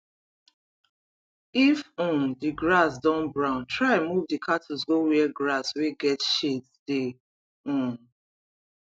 if um the grass don brown try move d cattles go where grass wey get shades dey um